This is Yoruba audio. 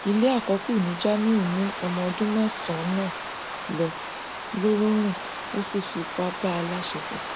ilé àkọkù ní jamiu mú ọmọ ọdún mẹsànán lọ ńlọrọrìn ó sì fipá bá a láṣepọ